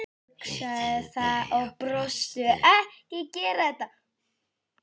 hugsuðu þau og brostu.